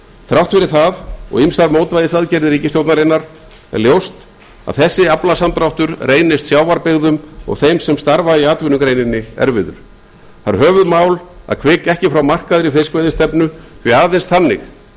þrátt fyrir það og ýmsar mótvægisaðgerðir ríkisstjórnarinnar er ljóst að þessi aflasamdráttur reynist sjávarbyggðum og þeim sem starfa í atvinnugreininni erfiður það er höfuðmál að hvika ekki frá markaðri fiskveiðistefnu því aðeins þannig mun